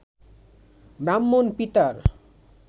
ব্রাহ্মণ পিতার